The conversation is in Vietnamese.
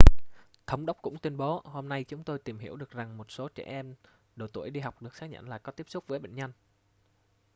thống đốc cũng tuyên bố hôm nay chúng tôi tìm hiểu được rằng một số trẻ em độ tuổi đi học được xác nhận là có tiếp xúc với bệnh nhân